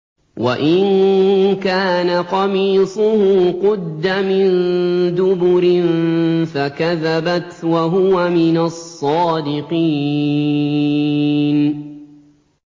وَإِن كَانَ قَمِيصُهُ قُدَّ مِن دُبُرٍ فَكَذَبَتْ وَهُوَ مِنَ الصَّادِقِينَ